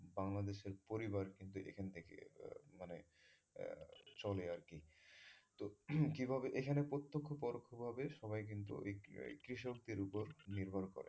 বাংলাদেশের পরিবার কিন্তু এখন থেকেই চলে আরকি এখানে প্রত্যক্ষ পরোক্ষ ভাবে কৃষকদের উপর নির্ভর করে